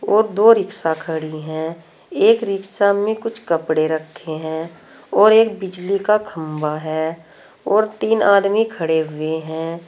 और दो रिक्शा खड़ी है एक रिक्शा में कुछ कपड़े रखे हैं और एक बिजली का खंबा है और तीन आदमी खड़े हुए है।